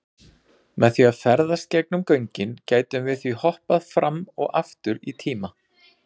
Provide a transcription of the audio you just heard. Með því að ferðast gegnum göngin gætum við því hoppað fram og aftur í tíma.